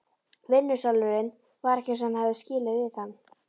Vinnusalurinn var ekki eins og hann hafði skilið við hann.